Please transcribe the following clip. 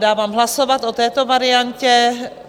Dávám hlasovat o této variantě.